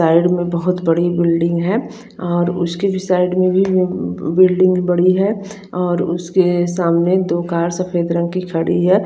Side में बहोत बड़ी बिल्डिंग है और उसके साइड मे भी बिल्डिंग बड़ी है और उसके सामने दो कार सफेद रंग की खड़ी है।